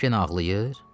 Anan genə ağlayır?